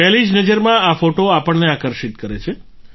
પહેલી જ નજરમાં આ ફોટો આપણને આકર્ષિત કરે છે